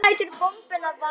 Doddi lætur bombuna vaða.